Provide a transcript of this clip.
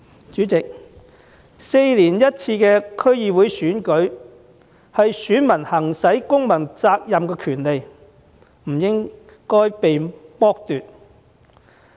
主席 ，4 年一次的區議會選舉是選民履行公民責任、行使公民權利的場合，這個權利不應被剝奪。